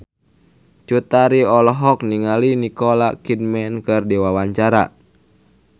Cut Tari olohok ningali Nicole Kidman keur diwawancara